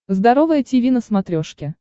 здоровое тиви на смотрешке